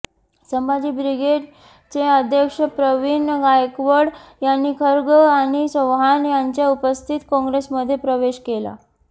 संभाजी ब्रिगेडचे अध्यक्ष प्रवीण गायकवाड यांनी खर्गे आणि चव्हाण यांच्या उपस्थितीत काँग्रेसमध्ये प्रवेश केला